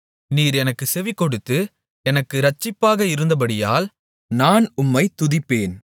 நீர் எனக்குச் செவிகொடுத்து எனக்கு இரட்சிப்பாக இருந்தபடியால் நான் உம்மைத் துதிப்பேன்